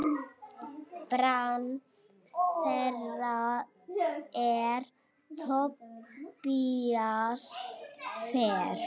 Barn þeirra er Tobías Freyr.